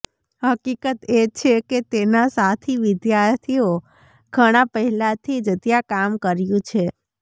હકીકત એ છે કે તેના સાથી વિદ્યાર્થીઓ ઘણા પહેલાથી જ ત્યાં કામ કર્યું છે